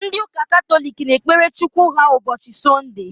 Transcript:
Ndị ụka Katọlik na-ekpere Chukwu ha ụbọchị Sọnde